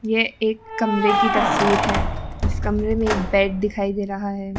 ये एक कमरे की तस्वीर है इस कमरे में एक बेड दिखाई दे रहा है।